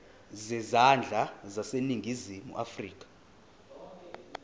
zezandla zaseningizimu afrika